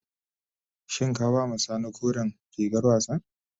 Shin ka ba ma sani koren rigar wassan.